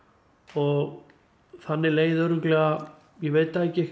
og þannig leið örugglega ég veit það ekki